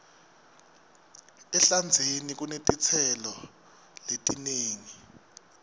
ehlandzeni kunetitselo letinengi